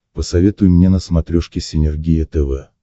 посоветуй мне на смотрешке синергия тв